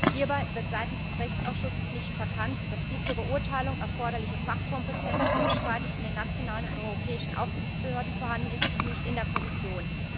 Hierbei wird seitens des Rechtsausschusses nicht verkannt, dass die zur Beurteilung erforderliche Fachkompetenz unstreitig in den nationalen und europäischen Aufsichtsbehörden vorhanden ist und nicht in der Kommission.